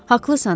Haqlısan.